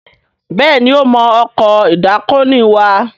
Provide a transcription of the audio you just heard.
Béèni o mọ Ọkọ̀ ìdákoní wà.